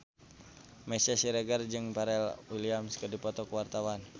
Meisya Siregar jeung Pharrell Williams keur dipoto ku wartawan